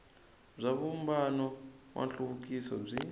bya vumbano wa nhluvukiso byi